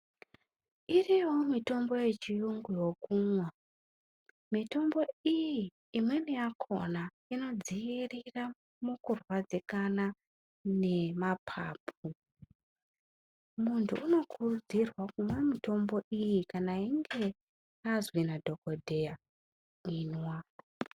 Iriyowo mitombo yechiyungu yokumwa mitombo iyi imweni yakona inodzoirira mukurwadzikana nemapapu, muntu unokurudzirwa kumwa mitombo iyi kana einge azwi nadhokodheya imwa.